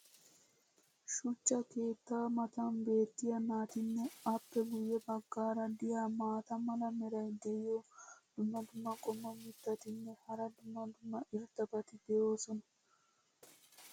shuchcha keettaa matan beetiya naatinne appe guye bagaara diya maata mala meray diyo dumma dumma qommo mitattinne hara dumma dumma irxxabati de'oosona.